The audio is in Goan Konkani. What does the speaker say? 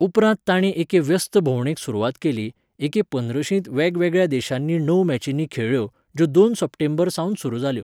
उपरांत तांणी एके व्यस्त भोंवडेक सुरवात केली, एके पंद्रशींत वेगवेगळ्या देशांनी णव मॅचींनी खेळ्ळ्यो, ज्यो दोन सप्टेंबर सावन सुरू जाल्यो.